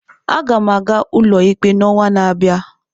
Aga m aga ụlọikpe n'ọnwa na-abịa.